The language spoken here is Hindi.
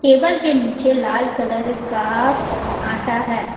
टेबल के नीचे लाल कलर का आटा है।